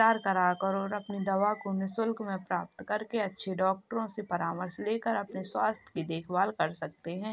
अपनी दवा को निशुल्क में प्राप्त करके अच्छे डॉक्टरो से परामर्श लेकर अपने स्वस्थ की देखभाल कर सकते हैं।